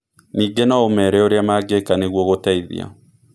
Ningĩ no ũmeere ũrĩa mangĩka nĩguo gũteithia.